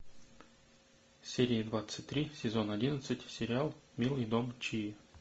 серия двадцать три сезон одиннадцать сериал милый дом чии